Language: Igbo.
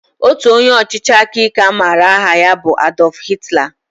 Otu onye ọchịchị aka ike a maara aha ya bụ Adolf Hitler